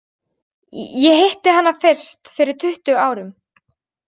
Ég hitti hana fyrst fyrir tuttugu árum.